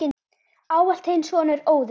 Ávallt þinn sonur, Óðinn.